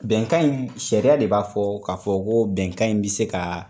Bɛnkan in sariya de b'a fɔ ka fɔ ko bɛnkan in bi se ka